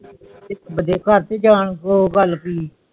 ਇਕ ਬਾਜੇ ਘਰ ਤੋਂ ਜਾਂਤੋ ਬਲਕਿ